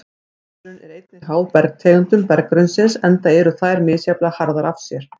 Efnaveðrun er einnig háð bergtegundum berggrunnsins enda eru þær misjafnlega harðar af sér.